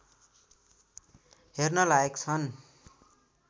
हेर्न लायक छन्